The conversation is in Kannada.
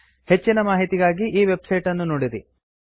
ಹೆಚ್ಚಿನ ಮಾಹಿತಿಗಾಗಿ ಈ ವೆಬ್ಸೈಟ್ ಅನ್ನು ನೋಡಿರಿ